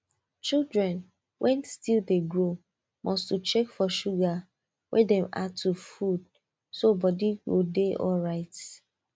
children wen still de grow must to check for sugar wey dem add to food so body go de alright